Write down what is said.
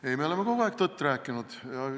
Ei, me oleme kogu aeg tõtt rääkinud.